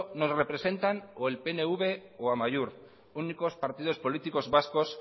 nos representan o el pnv o amaiur únicos partidos políticos vascos